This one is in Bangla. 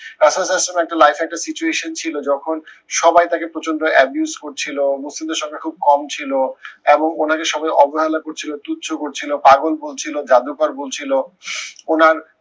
ইসলামের life এ একটা situation ছিল যখন সবাই তাকে প্রচন্ড abuse করছিলো মুসলিমের সংখ্যা খুব কম ছিল, এবং ওনাকে সবাই অবহেলা করছিলো, তুচ্ছ করছিলো, পাগল বলছিলো, জাদুকর বলছিলো উনার